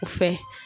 O fɛ